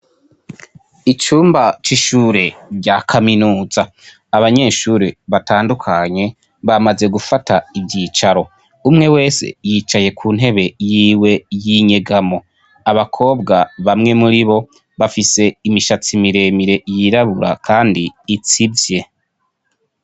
icumba c'ishure rya kaminuza abanyeshuri batandukanye bamaze gufata ivyicaro umwe wese yicaye ku ntebe yiwe y'inyegamo abakobwa bamwe muri bo bafise imishatsi miremire yirabura kandi itsivye